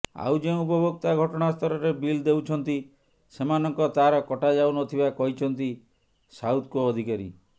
ଆଉ ଯେଉଁ ଉପଭୋକ୍ତା ଘଟଣାସ୍ଥଳରେ ବିଲ୍ ଦେଉଛନ୍ତି ସେମାନଙ୍କ ତାର କଟା ଯାଉନଥିବା କହିଛନ୍ତି ସାଉଥ କୋ ଅଧିକାରୀ